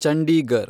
Chandigarh